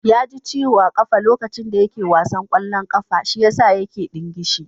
Ya ji ciwo a ƙafa lokacin da yake wasan ƙwallon ƙafa, shiyasa yake ɗingishi